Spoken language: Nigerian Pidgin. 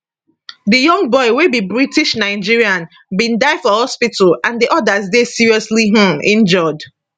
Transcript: di young boy wey be britishnigerian bin die for hospital and di odas dey seriously um injured